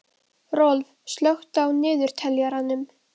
Rolf, slökktu á niðurteljaranum.